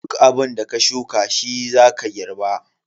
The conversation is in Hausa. Duk abunda ka shuka shi zaka girba.